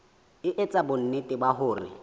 e etsa bonnete ba hore